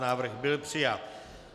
Návrh byl přijat.